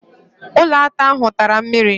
Ụlọata ahụ tara mmiri.